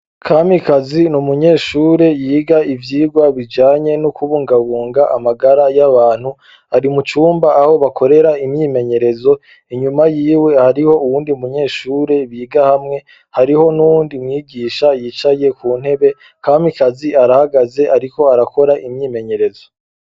Kamikazi n'umunyeshure yiga ivyigwa bijanye no kubungabunga amagara y'abantu , ari mucumba aho bakorera imyimenyerezo inyuma yiwe hariho uwundi munyeshure biga hamwe hariho n'uwundi mwigisha yicaye ku ntebe, Kamikazi arahagaze ariko arakora imyimeyerezo.